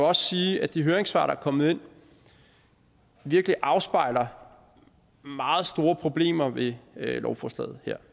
også sige at de høringssvar der er kommet ind virkelig afspejler meget store problemer ved lovforslaget her